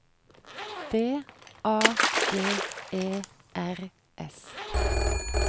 D A G E R S